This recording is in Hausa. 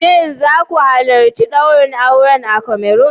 Shin za ku halarci daurin auren a Cameroon.